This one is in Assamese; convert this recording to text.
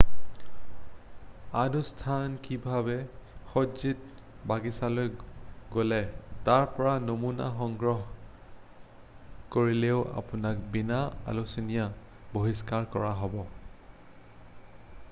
আনুষ্ঠানিকভাৱে সজ্জিত বাগিছালৈ গ’লে তাৰ পৰা নমুনা” সংগ্ৰহ কৰিলেও আপোনাক বিনা আলোচনাই বহিষ্কাৰ কৰা হ’ব।